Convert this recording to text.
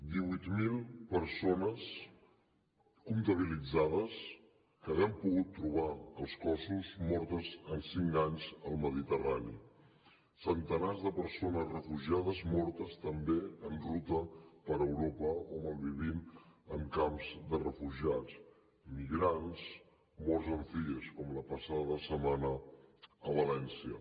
divuit mil persones comptabilitzades que n’haguem pogut trobar els cossos mortes en cinc anys al mediterrani centenars de persones refugiades mortes també en ruta per europa o malvivint en camps de refugiats migrants morts en cies com la passada setmana a valència